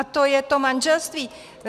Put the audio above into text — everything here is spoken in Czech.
A to je to manželství.